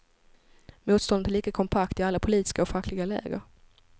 Motståndet är lika kompakt i alla politiska och fackliga läger.